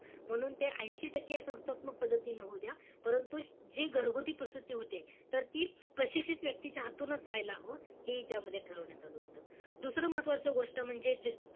म्हणून ते ऐशी टक्के संस्थात्मक पद्धतीनं, होउ द्या. परंतु, जे घरगुती प्रसूती होते, तर ती प्रशिक्षित व्यक्तीच्या हातूनच व्हायला हवं, हे त्यामध्ये ठरवण्यात आलं होतं. दुसरं महत्वाचं गोष्ट म्हणजे,